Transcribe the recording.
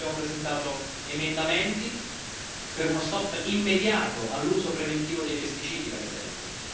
Per questo abbiamo presentato emendamenti per uno stop immediato all'uso preventivo dei pesticidi, per esempio.